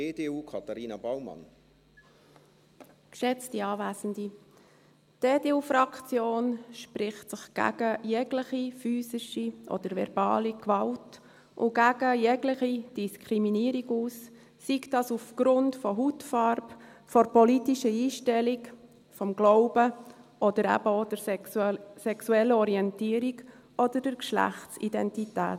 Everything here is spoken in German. Die EDU-Fraktion spricht sich gegen jegliche physische oder verbale Gewalt und gegen jegliche Diskriminierung aus, sei das aufgrund der Hautfarbe, der politischen Einstellung, des Glaubens oder eben auch der sexuellen Orientierung oder der Geschlechtsidentität.